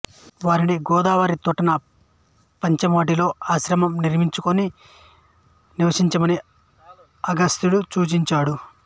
వారిని గోదావరీతటాన పంచవటిలో ఆశ్రమం నిర్మించుకొని నివసించమని అగస్త్యుడు సూచించాడు